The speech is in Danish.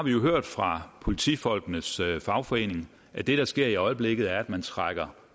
hørt fra politifolkenes fagforening at det der sker i øjeblikket er at man trækker